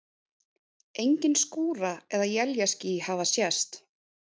Engin skúra- eða éljaský hafa sést.